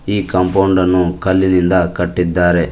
ಈ ಕಾಂಪೌಂಡ್ ಅನ್ನು ಕಲ್ಲಿನಿಂದ ಕಟ್ಟಿದ್ದಾರೆ.